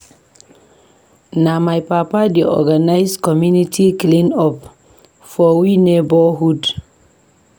Na my papa dey organise community clean-up for we neborhood.